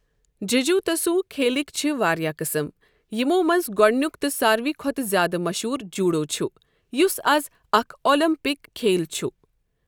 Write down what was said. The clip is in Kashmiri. ججوتسوٗ کھیلٕکۍ چھِ واریاہ قٕسٕم، یِمو منٛزٕ گۄڈنِیُک تہٕ سارِوٕے کھۄتہٕ زیادٕ مشہوٗر جوُڈو چُھ، یُس اَز اَکھ اوٚلمپِک کھیل چُھ۔